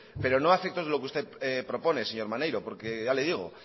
pero no a efectos de lo que usted propone señor maneiro porque ya le digo